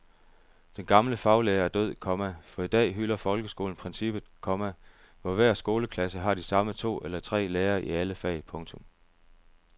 Den gamle faglærer er død, komma for i dag hylder folkeskolen princippet, komma hvor hver skoleklasse har de samme to eller tre lærere i alle fag. punktum